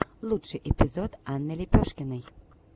лучший эпизод анны лепешкиной